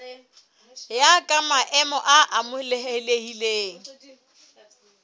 ya ka maemo a amohelehileng